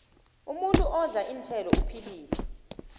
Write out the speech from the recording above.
umuntu odla iinthelo uphilile